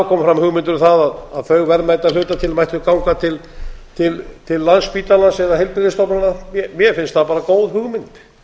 komið fram hugmyndir um það að þau verðmæti að hluta til mættu ganga til landspítalans eða heilbrigðisstofnana mér finnst það bara góð hugmynd